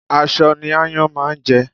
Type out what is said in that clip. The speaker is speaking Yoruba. Aṣọ ní ááyán máa ń jẹ